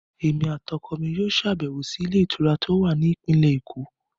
Èmi àti ọkọ mi yóò ṣàbẹ̀wò sí ilé ìtura tó wà ní ìpínlẹ̀ èkó